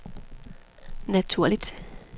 naturligt